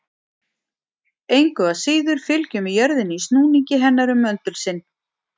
Engu að síður fylgjum við jörðinni í snúningi hennar um möndul sinn.